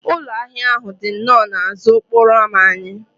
Ụlọ ahịa ahụ dị nnọọ n'azụ okporo ámá anyị